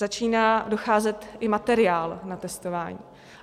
Začíná docházet i materiál na testování.